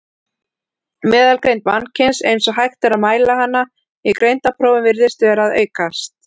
Meðalgreind mannkyns, eins og hægt er að mæla hana í greindarprófum, virðist vera að aukast.